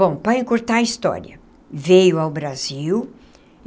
Bom, para encurtar a história, veio ao Brasil.